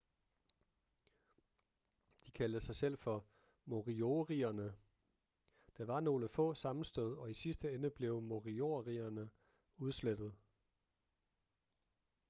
de kaldte sig selv for moriorierne.der var nogle få sammenstød og i sidste ende blev moriorierne udslettet